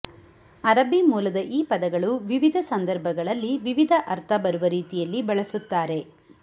ಅರಬ್ಬೀ ಮೂಲದ ಈ ಪದಗಳು ವಿವಿಧ ಸಂದರ್ಭಗಳಲ್ಲಿ ವಿವಿಧ ಅರ್ಥ ಬರುವ ರೀತಿಯಲ್ಲಿ ಬಳಸುತ್ತಾರೆ